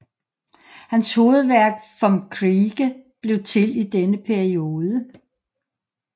Hans hovedværk Vom Kriege blev til i denne periode